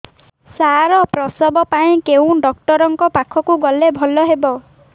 ସାର ପ୍ରସବ ପାଇଁ କେଉଁ ଡକ୍ଟର ଙ୍କ ପାଖକୁ ଗଲେ ଭଲ ହେବ